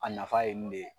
A nafa ye mun de ye